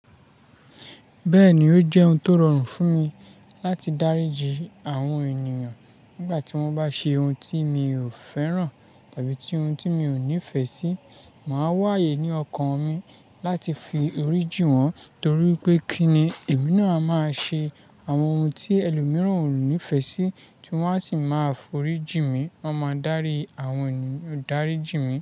Bẹ́ẹ̀ni, ó jẹ́ ohun tó rọrùn fún mi láti dáríji àwọn ènìyàn nígbà tí wọ́n bá ṣe ohun tí mi ò fẹ́ràn tàbí ohun tí mi ò nífẹ̀ẹ́ sí. Màá wáyé ní ọkàn mi láti fi orí jí wọ́n torí pé kí ni èmi náà máa ṣe àwọn ohun tí ẹlòmíràn ò nífẹ̀ẹ́ sí tí wọ́n á sì máa f'orí jí mi. Wọ́n máa dárí àwọn ènìyàn dáríji mi.